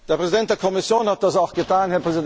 Der Präsident der Kommission hat das auch getan.